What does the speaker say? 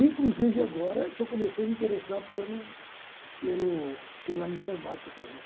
inclusive agora que eu comecei a me interessar pelo pelo pela informática gente.